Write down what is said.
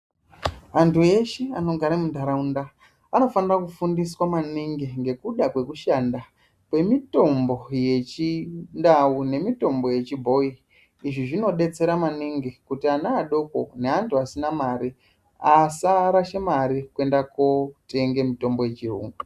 Antu eshe anogara munharaunda vanofanire kufundiswa maningi ngekuda kwekushanda kwemitombo yechindau nemitombo yechibhoyi izvi zvinodetsera maningi kuti ana adoko neantu asina mari asarashe mare kwenda kotenga mitombo yechiyungu